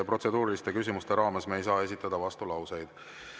Protseduuriliste küsimuste raames me ei saa esitada vastulauseid.